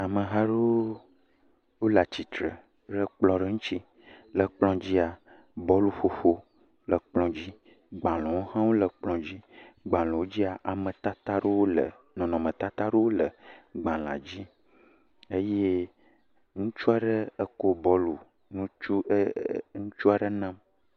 Ameha aɖewo wole atsitre le kplɔ aɖe ŋuti, le kplɔ dzia, bɔlƒoƒo le kplɔ dzi, gbalẽwo hã wole kplɔ dzi, gbalẽwo dzia, ametata ɖewo le, nɔnɔmetatawo le gbalẽa dzi, eye ŋutsu aɖe ekɔ bɔlu ŋutsu ee ŋutsua aɖe…